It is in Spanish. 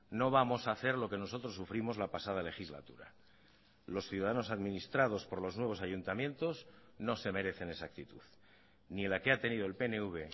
no vamos a hacer lo que nosotros sufrimos la pasada legislatura los ciudadanos administrados por los nuevos ayuntamientos no se merecen esa actitud ni la que ha tenido el pnv